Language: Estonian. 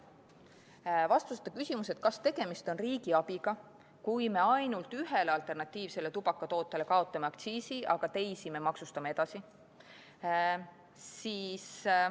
Vastuseta küsimus, kas tegemist on riigiabiga, kui me ainult ühel alternatiivsel tubakatootel kaotame aktsiisi, aga teisi maksustame edasi.